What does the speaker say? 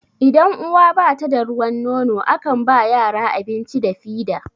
idan uwa bata da ruwan nono a kan ba yara abinci da fida